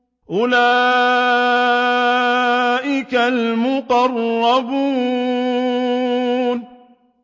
أُولَٰئِكَ الْمُقَرَّبُونَ